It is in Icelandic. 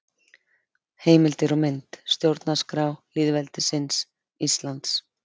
Heimildir og mynd: Stjórnarskrá lýðveldisins Íslands.